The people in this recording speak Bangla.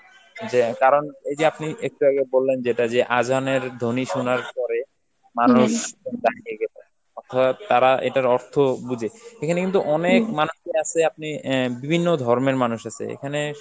যে~ কারণ এই যে আপনি একটু আগে বললেন যেটা যে আযানের ধ্বনি শুনার পরে মানুষ অর্থাৎ তারা এটার অর্থ বুঝে, এখানে কিন্তু অনেক মানুষই আছে, আপনি~ অ্যাঁ বিভিন্ন ধর্মের মানুষ আছে, এখানে